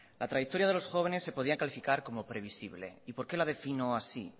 la trayectoria de los jóvenes se podía calificar como previsible y por qué la defino así